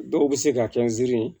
Dɔw bɛ se ka kɛ nsini ye